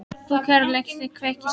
Þú kærleiksandi kveik í sál